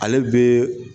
Ale bɛ